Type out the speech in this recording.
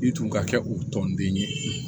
I tun ka kɛ o tɔnden ye